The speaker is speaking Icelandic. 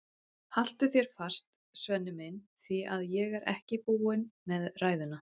Haltu þér fast, Svenni minn, því að ég er ekki búin með ræðuna.